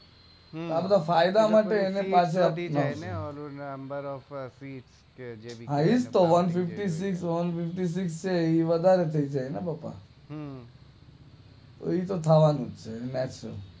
આ બધા ફાયદા માટે હા એ જ તે વનએઇટીસીક્સ છે એ વધારે થઇ જાય ને બકા એ તો થવાનું જ છે